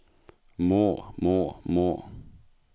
må må må